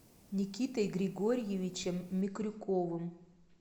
никитой григорьевичем микрюковым